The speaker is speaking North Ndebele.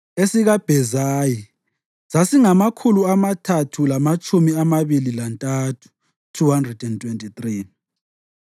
esikaBhezayi sasingamakhulu amathathu lamatshumi amabili lantathu (323),